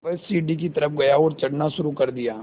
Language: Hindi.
वह सीढ़ी की तरफ़ गया और चढ़ना शुरू कर दिया